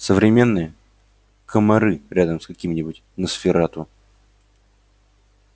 современные комары рядом с каким-нибудь носферату